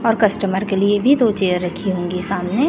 और कस्टमर के लिए भी दो चेयर रखी होंगी सामने।